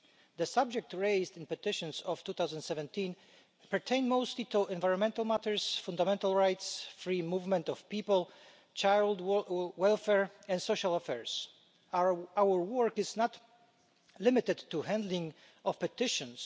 The subjects raised in the petitions of 2017 pertain mostly to environmental matters, fundamental rights, free movement of people, child welfare and social affairs. Our work is not limited to the handling of petitions.